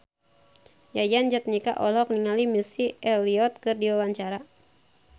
Yayan Jatnika olohok ningali Missy Elliott keur diwawancara